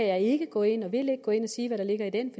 jeg ikke gå ind og sige hvad der ligger i den